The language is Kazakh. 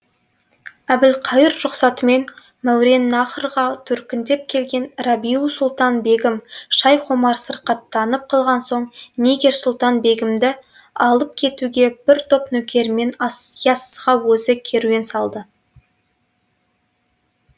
әбілқайыр рұқсатымен мауреннахрға төркіндеп келген рабиу сұлтан бегім шайх омар сырқаттанып қалған соң нигер сұлтан бегімді алып кетуге бір топ нөкерімен яссыға өзі керуен салды